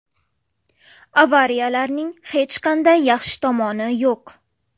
Avariyalarning hech qanday yaxshi tomoni yo‘q.